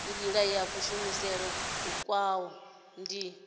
nila ya kuvhusele kwavhui ndi